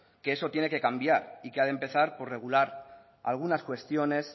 que eso tiene que cambiar y que ha de empezar por regular algunas cuestiones